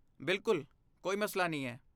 ਬਿਲਕੁਲ! ਕੋਈ ਮਸਲਾ ਨਹੀਂ ਹੈ।